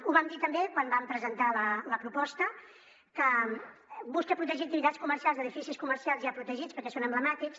ho vam dir també quan vam presentar la proposta que busca protegir activitats comercials d’edificis comercials ja protegits perquè són emblemàtics